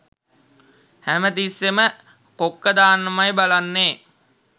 හැමතිස්සෙම කොක්ක දාන්නමයි බලන්නේ!